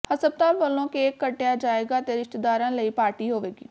ਹਸਪਤਾਲ ਵੱਲੋਂ ਕੇਕ ਕੱਟਿਆ ਜਾਏਗਾ ਤੇ ਰਿਸ਼ਤੇਦਾਰਾਂ ਲਈ ਪਾਰਟੀ ਹੋਵੇਗੀ